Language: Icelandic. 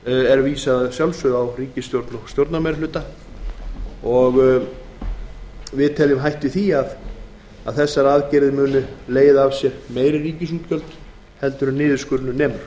af því á ríkisstjórnina og stjórnarmeirihlutann á alþingi hætt er við því að þessar aðgerðir muni leiða af sér meiri ríkisútgjöld en niðurskurðinum